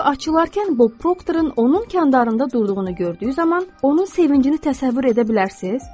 Qapı açılarkən Bob Proctorun onun kandarında durduğunu gördüyü zaman onun sevincini təsəvvür edə bilərsiniz?